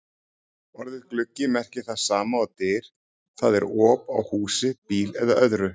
Orðið gluggi merkir það sama og dyr, það er op á húsi, bíl eða öðru.